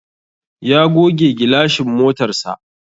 Ya goge gilashin motarsa.